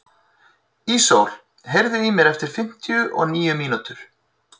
Ísól, heyrðu í mér eftir fimmtíu og níu mínútur.